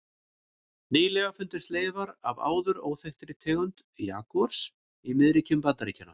Nýlega fundust leifar af áður óþekktri tegund jagúars í miðríkjum Bandaríkjanna.